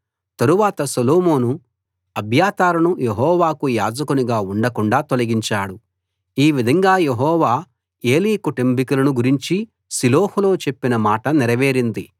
తరువాత సొలొమోను అబ్యాతారును యెహోవాకు యాజకునిగా ఉండకుండాా తొలగించాడు ఈ విధంగా యెహోవా ఏలీ కుటుంబికులను గురించి షిలోహులో చెప్పిన మాట నెరవేరింది